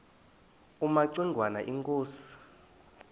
kumaci ngwana inkosi